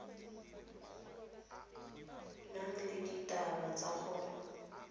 nang le dithata tsa go